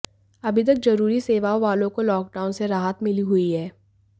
अभी तक जरूरी सेवाओं वालों को लॉकडाउन से राहत मिली हुई है